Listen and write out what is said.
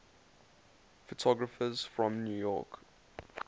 photographers from new york